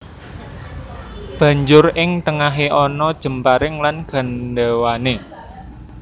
Banjur ing tengahé ana jemparing lan gandhéwané